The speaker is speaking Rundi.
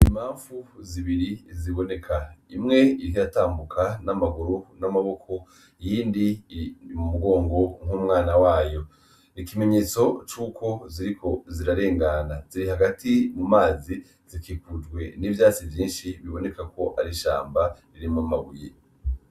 Ibiyoba beryoshe gusarura teke twabiteye mu kwezi kwa gatandatu, ariko buturi mu kwa kani utwuko turasarura ntibora bingena abanyeshuri bose twigana baza kumfasha, kubera biraryoshe ubisarura ubirya, ariko biragwaza inzoka hamwe bo vyo ishenga bucuca kwa muganga.